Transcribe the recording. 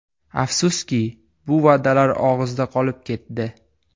Afsuski, bu va’dalar og‘izda qolib ketdi.